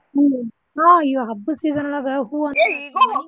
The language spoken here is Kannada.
ಹ್ಮ್ ಹಾ ಇವಾಗ್ ಹಬ್ಬದ್ season ಒಳಗ ಹೂವ .